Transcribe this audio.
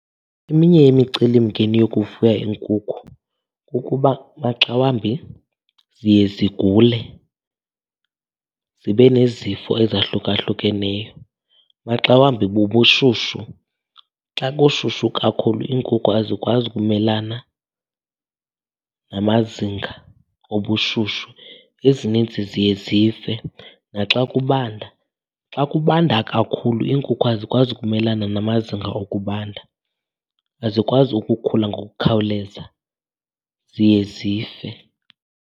Eminye yemicelimngeni yokufuya iinkukhu kukuba maxa wambi ziye zigule zibe nezifo ezahlukahlukeneyo, maxa wambi bubushushu. Xa kushushu kakhulu iinkukhu azikwazi ukumelana namazinga obushushu, ezininzi ziye zife. Naxa kubanda, xa kubanda kakhulu iinkukhu azikwazi ukumelana namazinga okubanda. Azikwazi ukukhula ngokukhawuleza, ziye zife.